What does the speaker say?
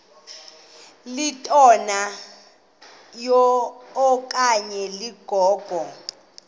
litola okanye ligogo